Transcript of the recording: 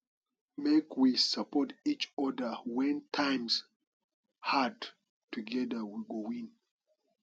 make we support each oda wen times hard togeda we go win